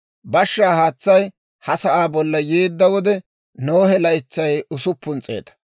Bashshaa haatsay ha sa'aa bolla yeedda wode, Nohe laytsay usuppun s'eeta.